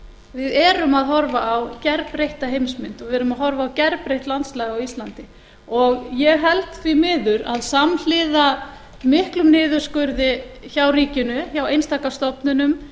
við erum að horfa á gerbreytta heimsmynd og við erum að horfa á gerbreytt landslag á íslandi ég held því miður að samhliða miklum niðurskurði hjá ríkinu hjá einstaka stofnunum